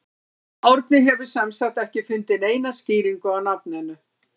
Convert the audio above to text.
Árni hefur sem sagt ekki fundið neina skýringu á nafninu.